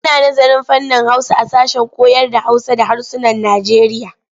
Ana nazarın fannin Hausa a sashen koyarda Hausa da harsunan Najeriya.